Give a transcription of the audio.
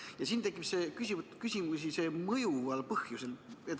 Ja siin tekitab küsimusi see "mõjuval põhjusel".